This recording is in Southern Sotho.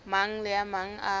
mang le a mang a